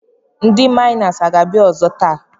Ndị maịna aga-abịa ọzọ taa?